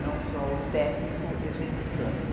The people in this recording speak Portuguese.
não só o técnico executando.